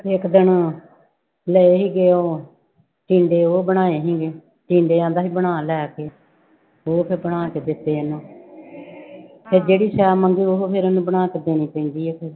ਇੱਕ ਦਿਨ ਲਏ ਸੀਗੇ ਉਹ ਟਿੰਡੇ ਉਹ ਬਣਾਏ ਸੀਗੇ, ਟਿੰਡੇ ਕਹਿੰਦਾ ਸੀ ਬਣਾ ਲੈ ਕੇ ਉਹ ਫਿਰ ਬਣਾ ਕੇ ਦਿੱਤੇ ਇਹਹਨੂੰ ਫਿਰ ਜਿਹੜੀ ਸੈਅ ਮੰਗੇ ਉਹ ਫਿਰ ਇਹਨੂੰ ਬਣਾ ਕੇ ਦੇਣੀ ਪੈਂਦੀ ਹੈ